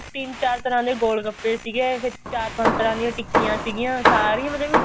ਤਿੰਨ ਚਾਰ ਤਰ੍ਹਾਂ ਦੇ ਗੋਲ ਗੱਪੇ ਸੀਗੇ ਫਿਰ ਚਾਰ ਪੰਜ ਤਰ੍ਹਾਂ ਦੀਆਂ ਟਿੱਕੀਆਂ ਸੀਗੀਆਂ ਮਤਲਬ